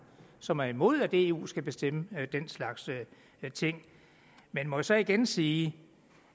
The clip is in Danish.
som er imod at eu skal bestemme den slags ting men må jeg så igen sige